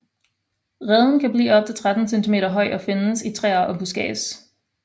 Reden kan blive op til 13 centimeter høj og findes i træer og buskads